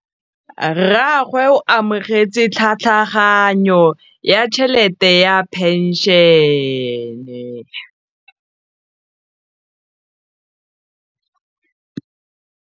Rragwe o amogetse tlhatlhaganyô ya tšhelête ya phenšene.